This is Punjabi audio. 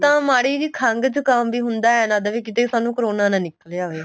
ਤਾਂ ਮਾੜੀ ਜੀ ਖੰਗ ਜੁਕਾਮ ਵੀ ਹੁੰਦਾ ਏ ਲਗਦਾ ਵੀ ਕਿੱਥੇ ਸਾਨੂੰ ਕਰੋਨਾ ਨਾ ਨਿਕਲ ਆਵੇ